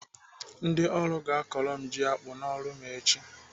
Ndị ọrụ ga-akọrọ m ji akpụ n'ọrụ m echi.